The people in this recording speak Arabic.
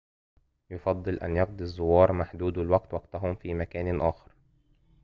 يُفضل أن يقضي الزوّار محدودو الوقت وقتَهم في مكان آخر